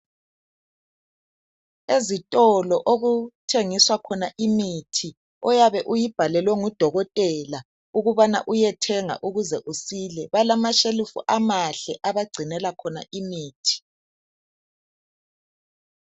Ezitolo okuthengiswa khona imithi, oyabe uyibhalelwe ngudokotela, ukubana uyethenga ukuze usile, balama shelufu amahle abagcinela khona imithi.